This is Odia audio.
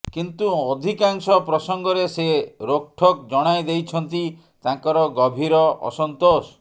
କିନ୍ତୁ ଅଧିକାଂଶ ପ୍ରସଙ୍ଗରେ ସେ ରୋକ୍ଠୋକ୍ ଜଣାଇ ଦେଇଛନ୍ତି ତାଙ୍କର ଗଭୀର ଅସନ୍ତୋଷ